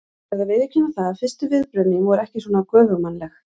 Ég verð að viðurkenna það að fyrstu viðbrögð mín voru ekki svona göfugmannleg.